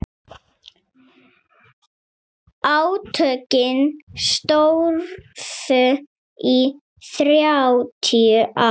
Átökin stóðu í þrjátíu ár.